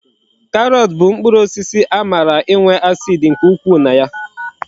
Karọt bụ mkpụrụ osisi amara inwe acid nke ukwu na ya